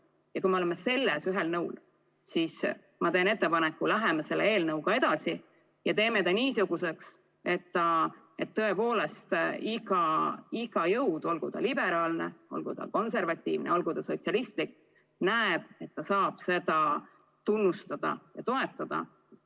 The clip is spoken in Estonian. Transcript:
Ja kui me oleme selles ühel nõul, siis ma teen ettepaneku: läheme selle eelnõuga edasi ja teeme ta niisuguseks, et tõepoolest iga jõud – olgu ta liberaalne, olgu ta konservatiivne, olgu ta sotsialistlik – näeb, et ta saab seda tunnustada ja toetada.